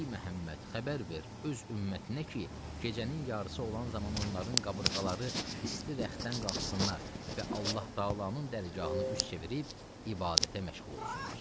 Yəni, ey Məhəmməd, xəbər ver öz ümmətinə ki, gecənin yarısı olan zaman onların qabırğaları isti rəxtdən qalxsınlar və Allah Təalanın dərgahına üz çevirib ibadətə məşğul olsunlar.